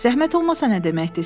“Zəhmət olmasa nə deməkdir?